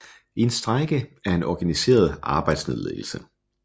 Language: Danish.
En strejke er en organiseret arbejdsnedlæggelse